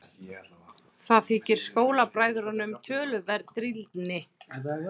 Það þykir skólabræðrunum töluverð drýldni.